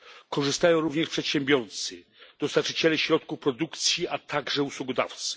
Korzystają również przedsiębiorcy, dostawcy środków produkcji, a także usługodawcy.